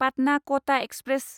Patna Kota express